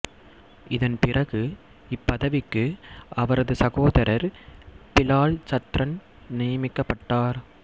இதன் பிறகு இப்பதவிக்கு அவரது சகோதரர் பிலால் சத்ரன் நியமிக்கப்பட்டார்